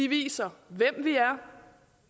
venstre